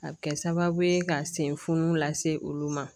A bɛ kɛ sababu ye ka sen funfun la se olu ma